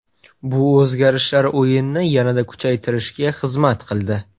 Bu o‘zgarishlar o‘yinni yanada kuchaytirishga xizmat qildi.